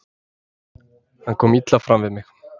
Hann kom illa fram við mig.